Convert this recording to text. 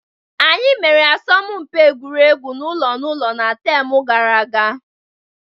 Anyi mere asọmụmpi egwuregwu ụlọ na ụlọ na taam gara aga.